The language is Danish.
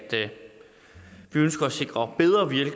vi